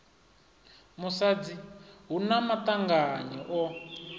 musadzi hu na maṱanganyi o